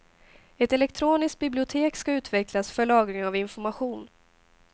Ett elektroniskt bibliotek ska utvecklas för lagring av information.